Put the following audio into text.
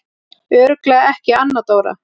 Örugglega ekki Anna Dóra?